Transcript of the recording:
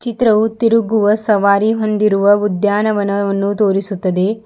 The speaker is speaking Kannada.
ಚಿತ್ರವು ತಿರುಗುವ ಸವಾರಿ ಹೊಂದಿರುವ ಉದ್ಯಾನವನವನ್ನು ತೋರಿಸುತ್ತದೆ.